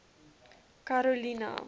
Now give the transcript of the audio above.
karolina